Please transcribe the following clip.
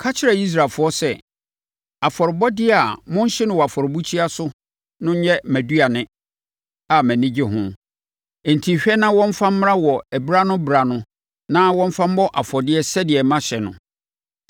“Ka kyerɛ Israelfoɔ sɛ, afɔrebɔdeɛ a mohye no wɔ afɔrebukyia so no yɛ mʼaduane a mʼani gye ho. ‘Enti, hwɛ na wɔmfa mmra wɔ ɛberɛ-ano-berɛ-ano na wɔmfa mmɔ afɔdeɛ sɛdeɛ mahyɛ no.